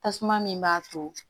Tasuma min b'a to